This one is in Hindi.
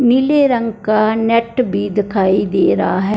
नीले रंग का नेट भी दिखाई दे रहा है।